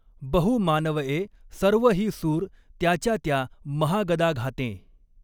बहु मानवए सर्व ही सुर त्याच्या त्या महागदाघातें।